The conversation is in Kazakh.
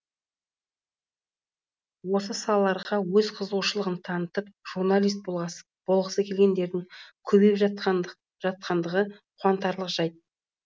осы салаларға өз қызығушылығын танытып журналист болғысы келетіндердің көбейіп жатқандығы қуантарлық жайт